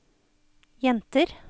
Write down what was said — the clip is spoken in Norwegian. jenter